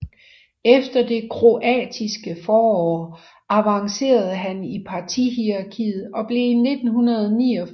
Efter det kroatiske forår avancerede han i partihierarkiet og blev i 1989 partiformand